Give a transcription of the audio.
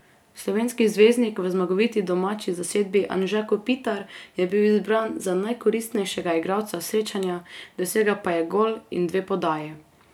Slovenski zvezdnik v zmagoviti domači zasedbi Anže Kopitar je bil izbran za najkoristnejšega igralca srečanja, dosegel pa je gol in dve podaji.